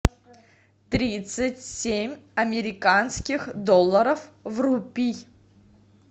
тридцать семь американских долларов в рупий